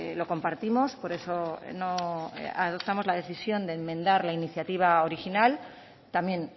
lo compartimos por eso no adoptamos la decisión de enmendar la iniciativa original también